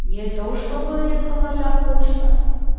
не то чтобы это моя почта